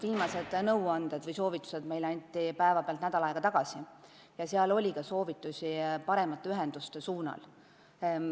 Viimased nõuanded või soovitused anti meile päeva pealt nädal aega tagasi ja seal oli ka soovitusi paremate ühenduste loomiseks.